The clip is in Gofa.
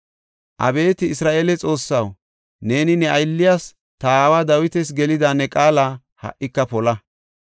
Abeeti Isra7eele Xoossaw, neeni ne aylliyas, ta aawa Dawitas gelida ne qaala ha77ika pola.